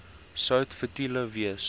sout futiel wees